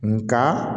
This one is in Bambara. Nka